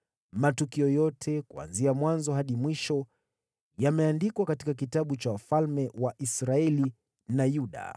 matukio yote, kuanzia mwanzo hadi mwisho, yameandikwa katika kitabu cha wafalme wa Israeli na Yuda.